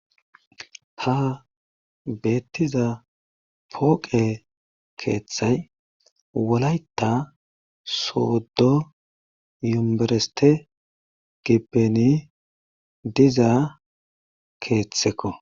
Ha betiza poqe keeththay walayta sodo yumbereste gibbeni diza keetheko.